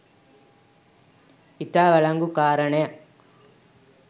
ඉතා වලංගු කාරණයක්